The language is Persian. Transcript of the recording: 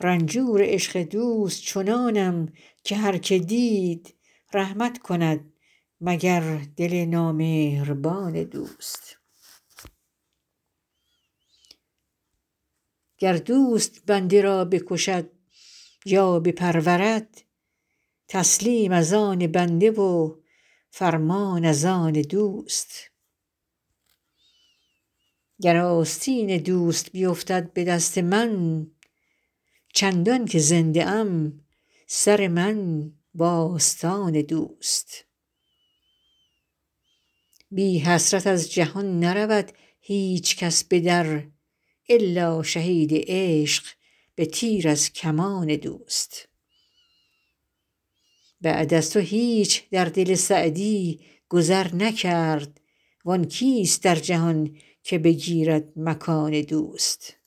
رنجور عشق دوست چنانم که هر که دید رحمت کند مگر دل نامهربان دوست گر دوست بنده را بکشد یا بپرورد تسلیم از آن بنده و فرمان از آن دوست گر آستین دوست بیفتد به دست من چندان که زنده ام سر من و آستان دوست بی حسرت از جهان نرود هیچ کس به در الا شهید عشق به تیر از کمان دوست بعد از تو هیچ در دل سعدی گذر نکرد وآن کیست در جهان که بگیرد مکان دوست